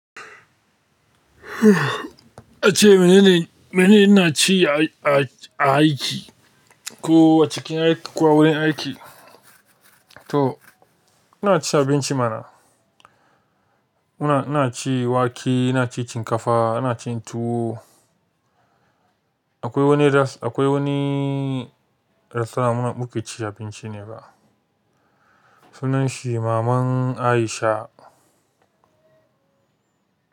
Ace mene ne, mene ina ci a, a, a aiki ko a cikin aiki ko a wurin aiki? To ina cin abinci mana. Ina, ina ci wake, ina ci shinkafa, ina cin tuwo. Akwai wani res-- akwai wani restaurant muna muke ci abinci ne ba. Sunan shi Maman Aisha.